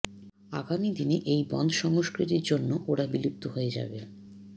আগামী দিনে এই বনধ সংস্কৃতির জন্য় ওরা বিলুপ্ত হয়ে যাবে